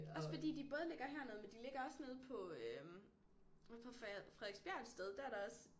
Også fordi de både ligger hernede men de ligger også nede på øh ude på Frederiksbjerg et sted der er der også